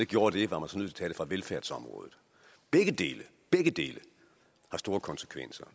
gjorde det var man nødt til at fra velfærdsområdet begge dele dele har store konsekvenser